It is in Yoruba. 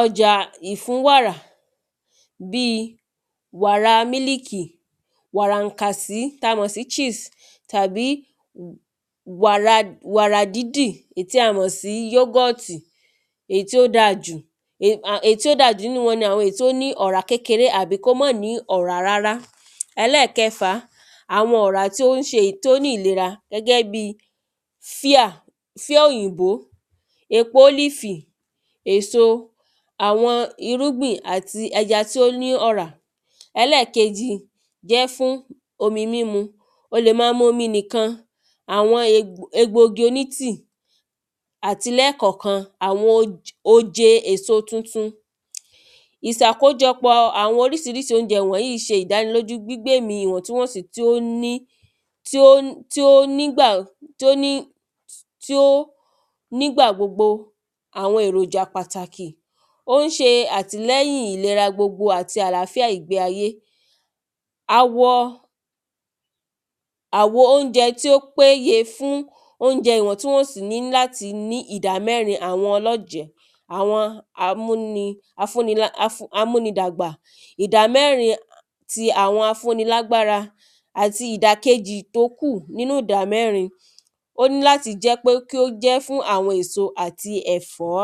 ọjà ìfúnwàrà bí wàrà mílìkì wàrà ànkàsí tá mọ̀ sí cheese tàbí wàrà dídì tá mọ̀ sí yógọ̀tì èyí tí ó dájù èyí tí ó dájù nínú wọn ni èyí tí ó ní ọ̀rá kékeré tàbí kó má ní ọ̀rá rárá Ẹlẹ́ẹ̀kẹfà àwọn ọ̀rá tó ń ṣe tó ní ìlera gẹ́gẹ́ bí fíà fíà òyìnbó èpo ólífì èso àwọn irúgbìn àti ẹja tí ó ní ọ̀rá Ẹlẹ́ẹ̀keje jẹ́ fún omi mímu o lè má mu omi nìkan àwọn egbò igi oní tí àti lẹ́ẹ̀kọ̀kan àwọn oje èso tuntun ìsàkójọpọ̀ àwọn orísirísi óúnjẹ wọ̀nyìí ṣe ìdánilójú gbígbémì ìwọ̀ntúnwọ̀nsí tí ó ní tí ó ní tí ó nígbà gbogbo àwọn èròjà pàtàkì ó ń ṣe àtìlẹyìn ìlera gbogbo àti àláfíà ìgbé ayé awọ àwo óúnjẹ tí ó péje fún óúnjẹ ìwọ̀ntúnwọ̀nsí ní ìdá mẹ́rin àwọn ọlọ́jẹ̀ àwọn amúni afú amúnidàgbà ìdámẹ́rin ti àwọn afúnilágbára àti ìdàkejì tó kù nínú ìdámẹ́rin ó ní láti kí ó jẹ́ pé fún àwọn èso àti ẹ̀fọ́.